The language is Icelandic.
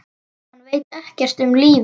Hann veit ekkert um lífið.